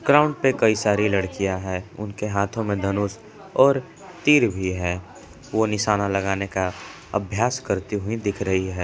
Ground पे कई सारी लड़कियां हैं उनके हाथों में धनुष और तीर भी है वो निशाना लगाने का अभ्यास करते हुए दिख रही है।